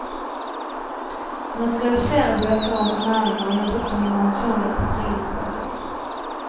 Hun har skrevet flere bøker om ernæring og har jobbet som matjournalist på frilansbasis.